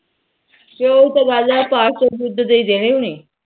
ਚੱਲ ਉਹ ਤਾ ਗੱਲ ਐ ਪਾਪ ਤਾ ਉਦਾ ਦੇ ਦੇਣੇ ਉਹਨੇ